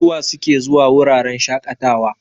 Suwa suke zuwa wuraren shaƙatawa?